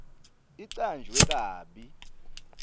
icanjwe kabi